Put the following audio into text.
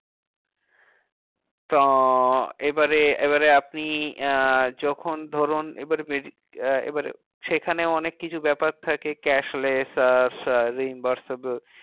তো এবারে এবারে আপনি আহ যখন ধরুন এবারে আহ এবারে সেখানে অনেক কিছু ব্যাপার থাকে cash less আহ